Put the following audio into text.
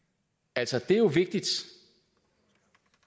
altså det er jo vigtigt